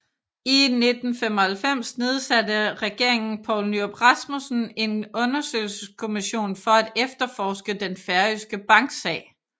I 1995 nedsatte regeringen Poul Nyrup Rasmussen en undersøgelseskommission for at efterforske den færøske banksag